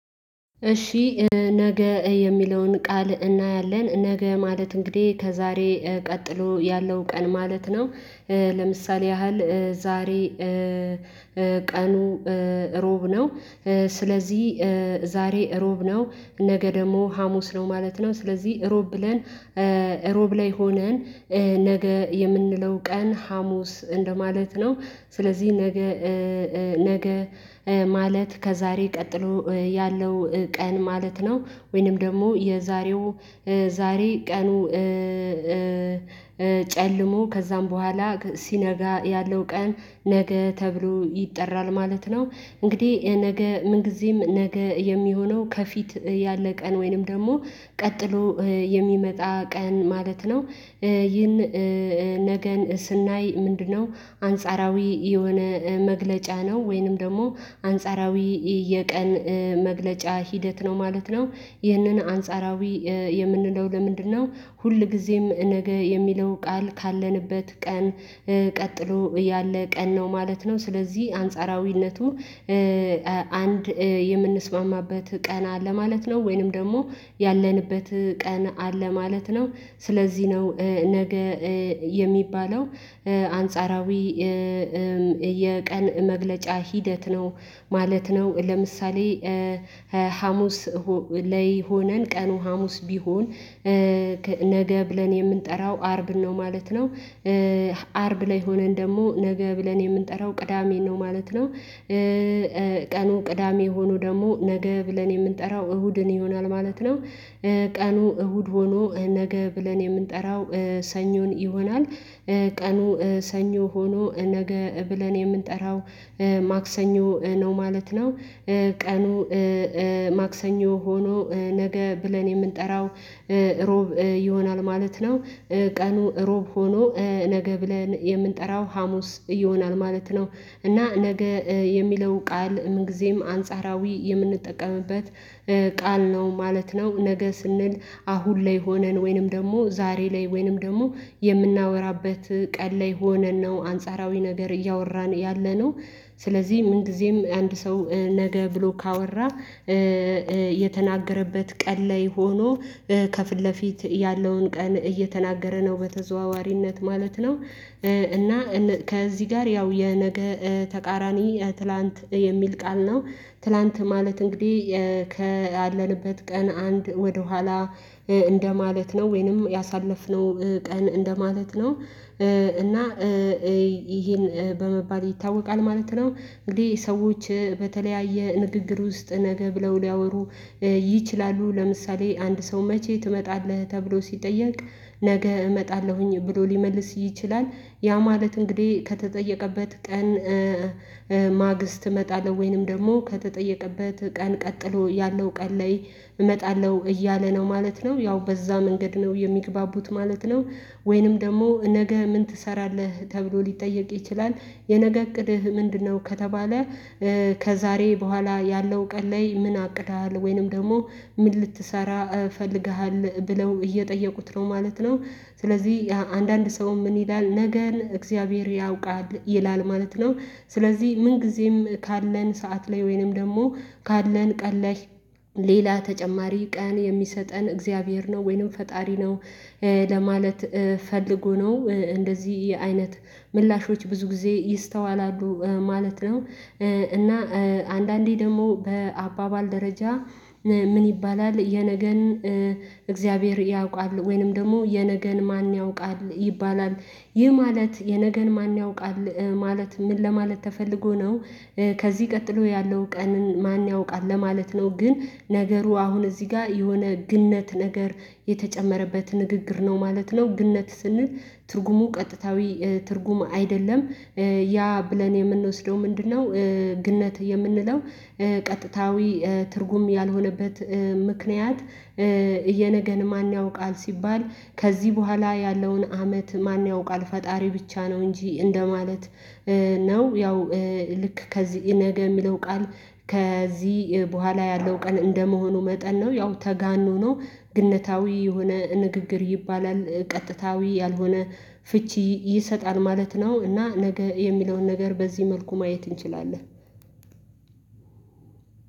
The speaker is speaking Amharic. እሺ፣ ነገ የሚለውን ቃል እናያለን። ነገ ማለት እንግዲህ ከዛሬ ቀጥሎ ያለው ቀን ማለት ነው። ለምሳሌ ያህል ዛሬ ቀኑ ሮብ ነው። ስለዚህ ዛሬ እሮብ ነው ነገ ደግሞ ሀሙስ ነው ማለት ነው። ስለዚህ እሮብ ብለን እሮብ ላይ ሆነን ነገ የምንለው ቀን ሀሙስ እንደማለት ነው። ስለዚህ ነገ ነገ ማለት ከዛሬ ቀጥሎ ያለው ቀን ማለት ነው። ወይንም ደግሞ የዛሬው ዛሬ ቀኑ ጨልሞ ከዛም በኋላ ሲነጋ ያለው ቀን ነገ ተብሎ ይጠራል ማለት ነው። እንግዲህ ነገ ምን ጊዜም ነገ የሚሆነው ከፊት ያለ ቀን ወይንም ደግሞ ቀጥሎ የሚመጣ ቀን ማለት ነው። ይህን ነገን ስናይ ምንድነው አንጻራዊ የሆነ መግለጫ ነው። ወይንም ደግሞ አንጻራዊ የቀን መግለጫ ሂደት ነው ማለት ነው። ይህንን አንጻራዊ የምንለው ለምንድነው? ሁልጊዜም ነገ የሚለው ቃል ካለንበት ቀን ቀጥሎ እያለ ቀን ነው ማለት ነው። ስለዚህ አንጻራዊነቱ አንድ የምንስማማበት ቀና ለማለት ነው። ወይንም ደግሞ ያለንበት ቀን አለ ማለት ነው። ስለዚህ ነው ነገ የሚባለው አንጻራዊ የቀን መግለጫ ሂደት ነው ማለት ነው። ለምሳሌ ሀሙስ ላይ ሆነን ቀኑ ሀሙስ ቢሆን፣ ነገ ብለን የምንጠራው አርብ ነው ማለት ነው። አርብ ላይ ሆነን ደግሞ ነገ ብለን የምንጠራው ቅዳሜን ነው ማለት ነው። ቀኑ ቅዳሜ ሆኖ ደግሞ ነገ ብለን የምንጠራው እሁድን ይሆናል ማለት ነው። ቀኑ እሁድ ሆኖ ነገ ብለን የምንጠራው ሰኞን ይሆናል። ቀኑ ሰኞ ሆኖ ነገ ብለን የምንጠራው ማክሰኞ ነው ማለት ነው። ቀኑ ማክሰኞ ሆኖ ነገ ብለን የምንጠራው እሮብ ይሆናል ማለት ነው። ቀኑ ሮብ ሆኖ ነገ ብለን የምንጠራው ሀሙስ ይሆናል ማለት ነው። እና ነገ የሚለው ቃል ምን ጊዜም አንጻራዊ የምንጠቀምበት ቃል ነው ማለት ነው። ነገ ስንል አሁን ላይ ሆነን ወይንም ደግሞ ዛሬ ላይ ወይንም ደግሞ የምናወራበት ቀን ላይ ሆነን ነው አንጻራዊ ነገር እያወራን ያለነው። ስለዚህ ምን ጊዜም አንድ ሰው ነገ ብሎ ካወራ የተናገረበት ቀን ላይ ሆኖ ከፊት ለፊት ያለውን ቀን እየተናገረ ነው በተዘዋዋሪነት ማለት ነው። እና ከዚህ ጋር ያው የነገ ተቃራኒ ትላንት የሚል ቃል ነው፣ ትላንት ማለት እንግዲህ ከአለንበት ቀን አንድ ወደኋላ እንደማለት ነው ወይንም ያሳለፍነው ቀን እንደማለት ነው እና ይሄን በመባል ይታወቃል ማለት ነው። እንግዲህ ሰዎች በተለያየ ንግግር ውስጥ ነገ ብለው ሊያወሩ ይችላሉ ለምሳሌ አንድ ሰው መቼ ትመጣለህ ተብሎ ሲጠየቅ ነገ እመጣለሁኝ ብሎ ሊመልስ ይችላል። ያ ማለት እንግዲህ ከተጠየቀበት ቀን ማግስት እመጣለሁ ወይንም ደግሞ ከተጠየቀበት ቀን ቀጥሎ ያለው ቀን ላይ እመጣለሁ እያለ ነው ማለት ነው። ያው በዛ መንገድ ነው የሚግባቡት ማለት ነው። ወይንም ደግሞ ነገ ምን ትሰራለህ ተብሎ ሊጠየቅ ይችላል። የነገ እቅድህ ምንድነው ከተባለ ከዛሬ በኋላ ያለው ቀን ላይ ምን አቅደሃል ወይንም ደግሞ ምን ልትሰራ ፈልገሃል ብለው እየጠየቁት ነው ማለት ነው። ስለዚህ አንዳንድ ሰው ምን ይላል? ነገን እግዚአብሔር ያውቃል ይላል ማለት ነው። ስለዚህ ምን ጊዜም ካለን ሰዓት ላይ ወይንም ደግሞ ካለን ቀለይ ሌላ ተጨማሪ ቀን የሚሰጠን እግዚአብሔር ነው ወይንም ፈጣሪ ነው። ለማለት ፈልጎ ነው። እንደዚህ የአይነት ምላሾች ብዙ ጊዜ ይስተዋላሉ ማለት ነው። እና አንዳንዴ ደግሞ በአባባል ደረጃ ምን ይባላል? የነገን እግዚአብሔር ያውቃል፣ ወይንም ደግሞ የነገን ማን ያውቃል ይባላል። ይህ ማለት የነገን ማን ያውቃል ማለት ምን ለማለት ተፈልጎ ነው? ከዚህ ቀጥሎ ያለው ቀን ማን ያውቃል ለማለት ነው። ግን ነገሩ አሁን እዚህ ጋር የሆነ ግንነት ነገር የተጨመረበት ንግግር ነው ማለት ነው። ግነት ስንል ትርጉሙ ቀጥታዊ ትርጉም አይደለም። ያ ብለን የምንወስደው ምንድነው? ግነት የምንለው ቀጥታዊ ትርጉም ያልሆነበት ምክንያት የነገን ማን ያውቃል ሲባል ከዚህ በኋላ ያለውን አመት ማን ያውቃል ፈጣሪ ብቻ ነው እንጂ እንደማለት ነው። ያው ልክ ከዚህ ነገ የሚለው ቃል ከዚህ በኋላ ያለው ቀን እንደመሆኑ መጠን ነው። ያው ተጋኖ ነው ግንነታዊ የሆነ ንግግር ይባላል፣ ቀጥታዊ ያልሆነ ፍቺ ይሰጣል ማለት ነው። እና ነገ የሚለውን ነገር በዚህ መልኩ ማየት እንችላለን።